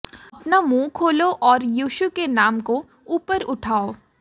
अपना मुंह खोलो और यीशु के नाम को ऊपर उठाओ